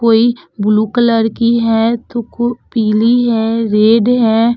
कोई blue colour की है तो को पीली है रेड है।